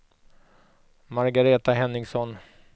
Margareta Henningsson